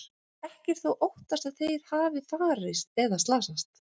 Ekki er þó óttast að þeir hafi farist eða slasast.